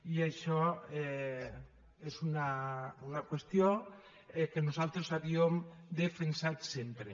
i això és una qüestió que nosaltres havíem defensat sempre